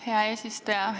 Hea eesistuja!